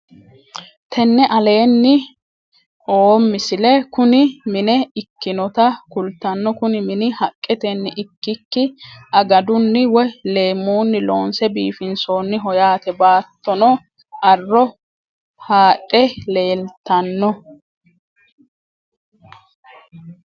tene aleenni oo misile kuni mine ikkinota kultanno kuni mini haqqetenni ikkiki agaduni woy leemmunni loonse biifinsoonniho yaate baatttono arro haadhe leeltanno